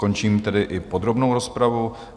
Končím tedy i podrobnou rozpravu.